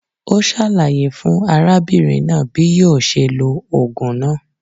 Ó sàlàyé fún arábìnrin náà bí yíò se lo ògùn náà